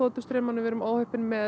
þotustraumunum við erum óheppin með